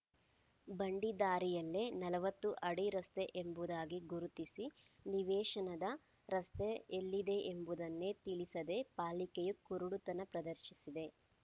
ಬಂಡಿ ದಾರಿಯಲ್ಲೇ ನಲವತ್ತು ಅಡಿ ರಸ್ತೆಯೆಂಬುದಾಗಿ ಗುರುತಿಸಿ ನಿವೇಶನದ ರಸ್ತೆ ಎಲ್ಲಿದೆಯೆಂಬುದನ್ನೇ ತಿಳಿಸದೇ ಪಾಲಿಕೆಯೂ ಕುರುಡುತನ ಪ್ರದರ್ಶಿಸಿದೆ